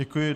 Děkuji.